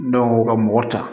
Dɔw ka mɔgɔ ta